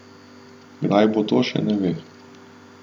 Kdaj bo to, še ne ve.